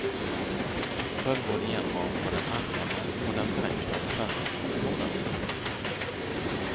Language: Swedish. Följ vår genomgång på den allmäna och den förenklade självdeklarationen.